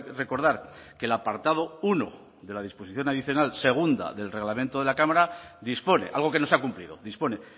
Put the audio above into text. recordar que el apartado uno de la disposición adicional segunda del reglamento de la cámara dispone algo que no se ha cumplido dispone